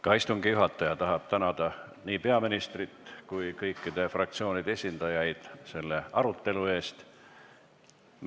Ka istungi juhataja tänab nii peaministrit kui kõikide fraktsioonide esindajaid selle arutelu eest.